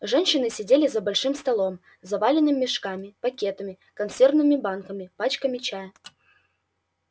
женщины сидели за большим столом заваленным мешками пакетами консервными банками пачками чая